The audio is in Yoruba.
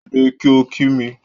Dìde kí o kí mi